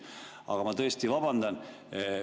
Aga ma tõesti vabandan.